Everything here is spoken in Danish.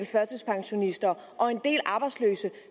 førtidspensionister og en del arbejdsløse